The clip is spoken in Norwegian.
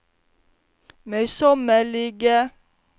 møysommelige